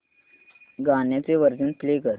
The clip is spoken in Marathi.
गाण्याचे व्हर्जन प्ले कर